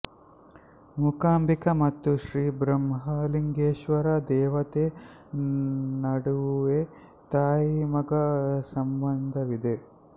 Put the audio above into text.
ಮೂಕಾಂಬಿಕಾ ಮತ್ತು ಶ್ರೀ ಬ್ರಹ್ಮಲಿಂಗೇಶ್ವರ ದೇವತೆ ನಡುವೆ ತಾಯಿಮಗ ಸಂಬಂಧವಿದೆ